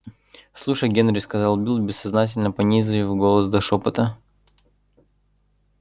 слушай генри сказал билл бессознательно понизив голос до шёпота